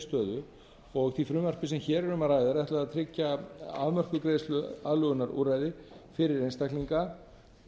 stöðu og því frumvarpi sem hér er um að ræða er ætlað að tryggja afmörkuð greiðsluaðlögunarúrræði fyrir einstaklinga